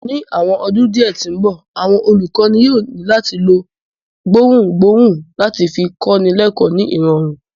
Ni awọn ọdun diẹ ti nbọ, awọn olukọni yóò ni lati lo awọn gbohungbohun lati fi kọni lẹkọ ni irọrun